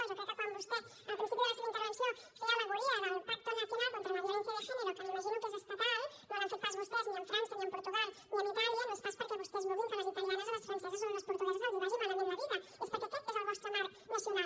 jo crec que quan vostè en el principi de la seva intervenció feia al·legoria del pacto nacional contra la violencia de género que m’imagino que és estatal no l’han fet pas vostès ni amb frança ni amb portugal ni amb itàlia no és pas perquè vostès vulguin que a les italianes o a les franceses o a les portugueses els vagi malament la vida és perquè aquest és el vostre marc nacional